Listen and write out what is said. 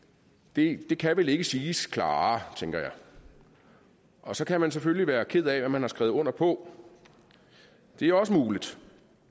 det kan vel ikke siges klarere tænker jeg og så kan man selvfølgelig være ked af hvad man har skrevet under på det er også muligt